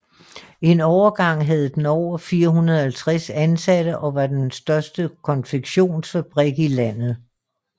En overgang havde den over 450 ansatte og var den største konfektionsfabrik i landet